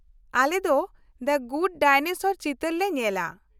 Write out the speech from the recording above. ᱟᱞᱮᱫᱚ the good dinosaur ᱪᱤᱛᱟᱹᱨ ᱞᱮ ᱧᱮᱞᱟ ᱾